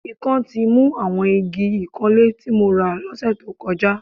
Ikán ti mu àwọn igi ìkanlé tí mo rà lọ́sẹ̀ tó kọjá